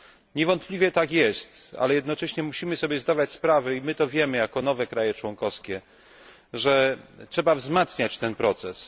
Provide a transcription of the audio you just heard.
Niewątpliwie tak jest, ale jednocześnie musimy sobie zdawać sprawę, i my to wiemy jako nowe kraje członkowskie, że trzeba wzmacniać ten proces.